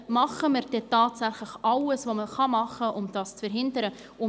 Tun wir denn tatsächlich alles, was möglich ist, um das zu verhindern?